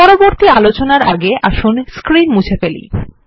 পরবর্তী আলোচনার আগে আসুন স্ক্রীন মুছে ফেলি